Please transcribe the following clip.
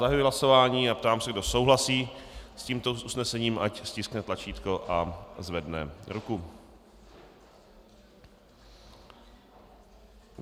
Zahajuji hlasování a ptám se, kdo souhlasí s tímto usnesením, ať stiskne tlačítko a zvedne ruku.